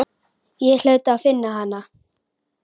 Ég hlaut að finna hana.